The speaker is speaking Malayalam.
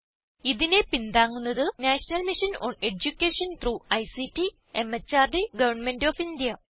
ഇതിനെ പിന്താങ്ങുന്നത് national mission on education through ICT MHRD government of India